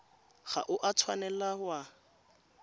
ga o a tshwanela wa